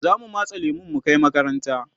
zamu matse lemun mu Kai makaranta